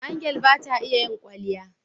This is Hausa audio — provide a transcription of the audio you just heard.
Angel bata iya in kwalya